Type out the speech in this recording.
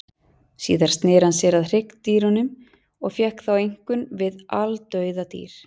Síðar sneri hann sér að hryggdýrunum og fékkst þá einkum við aldauða dýr.